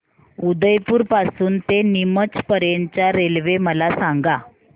उदयपुर पासून ते नीमच पर्यंत च्या रेल्वे मला सांगा